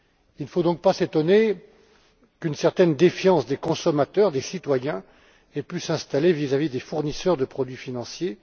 Il ne faut donc pas s'étonner qu'une certaine défiance des consommateurs, des citoyens, ait pu s'installer vis à vis des fournisseurs de produits financiers.